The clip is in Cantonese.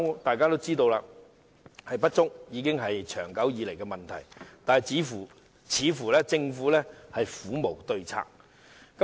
大家均知道，醫療人手不足已是存在已久的問題，但政府似乎苦無對策。